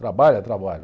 Trabalha? Trabalho.